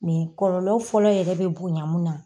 kɔlɔlɔ fɔlɔ yɛrɛ bɛ bonya mun na